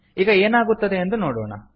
ಈಗ ಏನಾಗುತ್ತದೆ ಎಂದು ನೋಡೋಣ